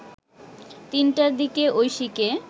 ৩টার দিকে ঐশীকে